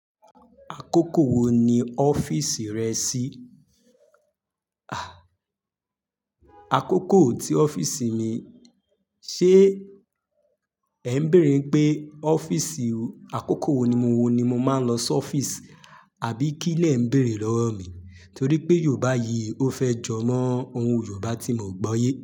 Àkókò wo ni ọ́fíìsì rẹ ṣí? Àkókò tí ọ́fíìsì mi, ṣé ẹ ń bèèrè pé ọ́fíìsì àkókò wo ni mo wo ni mo máa ń lọ sí ọ́fíìsì? Àbí kí lẹ ń bèèrè lọ́wọ́ mi? Torí pé Yorùbá yìí ó fẹ́ jọ mọ́ ohun Yorùbá tí mo gbọye.